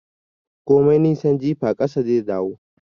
Komai nisan jifa, ƙasa zai dawo